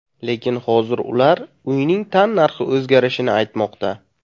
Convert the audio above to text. Lekin hozir ular uyning tannarxi o‘zgarishini aytmoqda.